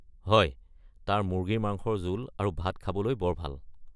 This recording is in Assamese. হয়, তাৰ মুৰ্গী মাংসৰ জোল আৰু ভাত খাবলৈ বৰ ভাল।